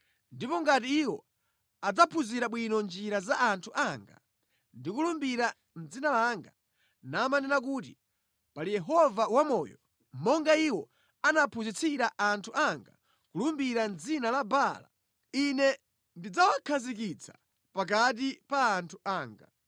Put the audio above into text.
Ndipo ngati iwo adzaphunzira bwino njira za anthu anga ndi kulumbira mʼdzina langa, namanena kuti, ‘Pali Yehova wamoyo,’ monga iwo anaphunzitsira anthu anga kulumbira mʼdzina la Baala, Ine ndidzawakhazikitsa pakati pa anthu anga.